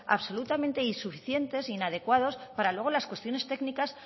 absolutamente insuficientes e inadecuados para luego las cuestiones técnicas